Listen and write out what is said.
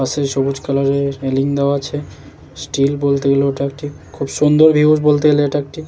পাশে সবুজ কালার -এর রেলিং দেওয়া আছে | স্টিল বলতে গেলে ওটা একটি খুব সুন্দর ভিউ বলতে গেলে এটা একটি।